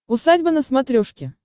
усадьба на смотрешке